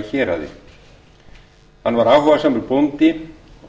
í héraði hann var áhugasamur bóndi